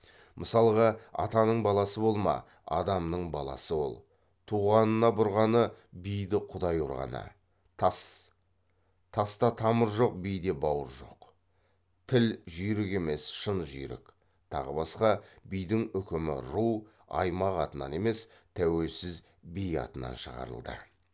мысалғы атаның баласы болма адамның баласы ол туғанына бұрғаны биді құдай ұрғаны таста тамыр жоқ биде бауыр жоқ тіл жүйрік емес шын жүйрік тағы басқа бидің үкімі ру аймақ атынан емес тәуелсіз би атынан шығарылды